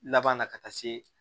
Laban na ka taa se